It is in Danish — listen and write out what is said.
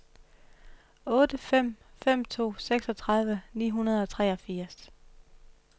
otte fem fem to seksogtredive ni hundrede og treogfirs